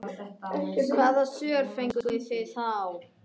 Hvaða svör fenguð þið þá?